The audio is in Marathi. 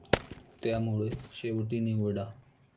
त्यामुळे शेवटी निवडा?